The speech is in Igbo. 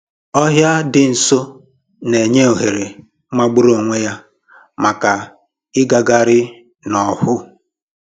Ọhịa dị nso na-enye ohere magburu onwe ya maka ịgagharị n'ọhụụ